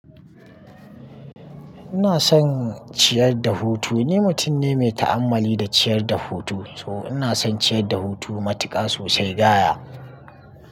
Ina son ciyar da hutu. Ni mutum ne mai ta'ammali da ciyar da hutu, so ina son ciyar da hutu matuƙa sosai gaya.